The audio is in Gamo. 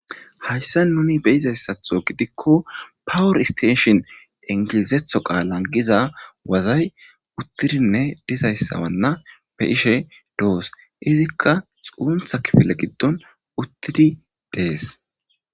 Hayssa nuni beyizayssatho gidikko pawor isteeshin ingilizetho qaalan giza wazay uttidinne dizayssawanna be ishe doos izikka xuuntha kifile giddon uttidi dees.